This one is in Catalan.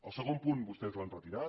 el segon punt vostès l’han retirat